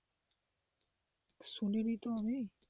শুনিনি তো আমি,